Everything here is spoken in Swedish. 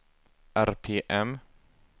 RPM